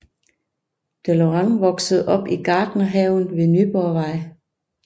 Deleuran voksede op i Gartnerhaven ved Nyborgvej